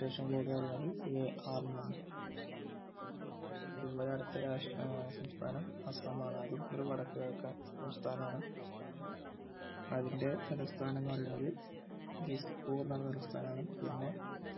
Registration code പറയുന്നത് AR എന്നാണ് അതുപോലെ അടുത്ത രാഷ്ട്ര ഏർ സംസ്ഥാനം അസമാണ് അതും ഒരു വടക്ക്കിഴക്കൻ സംസ്ഥാനം ആണ് അതിൻ്റെ തലസ്ഥാനം എന്ന് പറയുന്നത് ദിസ്പൂർ എന്ന് പറയുന്നൊരു സ്ഥലം ആണ് പിന്നെ